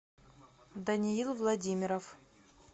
даниил владимиров